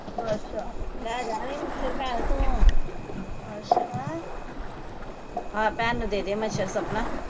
ਅੱਛਾ ਲੈ ਜਾਣਾ ਹੀ ਮੱਛਰ ਭੈਣ ਤੂੰ ਅੱਛਾ ਹਾ ਭੈਣ ਨੂੰ ਦੇ ਦੇ ਮੱਛਰ ਸਪਨਾ